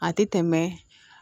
A tɛ tɛmɛ